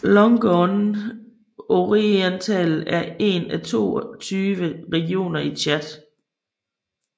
Logone Oriental er en af de 22 regioner i Tchad